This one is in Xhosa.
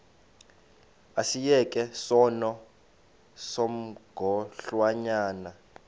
asiyeke sono smgohlwaywanga